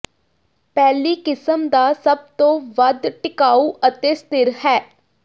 ਪਹਿਲੀ ਕਿਸਮ ਦਾ ਸਭ ਤੋਂ ਵੱਧ ਟਿਕਾਊ ਅਤੇ ਸਥਿਰ ਹੈ